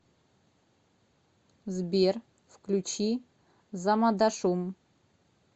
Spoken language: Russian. сбер включи замадашум